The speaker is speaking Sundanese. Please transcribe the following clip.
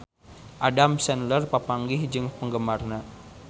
Adam Sandler papanggih jeung penggemarna